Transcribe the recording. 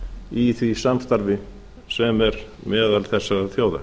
í því samstarfi sem er meðal þessara þjóða